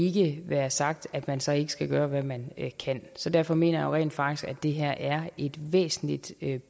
jo ikke være sagt at man så ikke skal gøre hvad man kan så derfor mener jeg rent faktisk at det her er et væsentligt